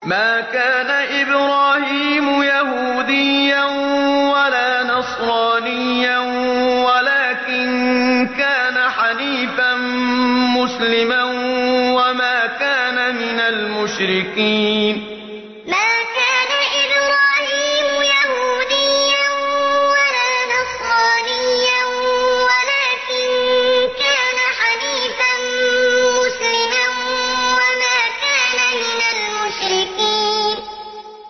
مَا كَانَ إِبْرَاهِيمُ يَهُودِيًّا وَلَا نَصْرَانِيًّا وَلَٰكِن كَانَ حَنِيفًا مُّسْلِمًا وَمَا كَانَ مِنَ الْمُشْرِكِينَ مَا كَانَ إِبْرَاهِيمُ يَهُودِيًّا وَلَا نَصْرَانِيًّا وَلَٰكِن كَانَ حَنِيفًا مُّسْلِمًا وَمَا كَانَ مِنَ الْمُشْرِكِينَ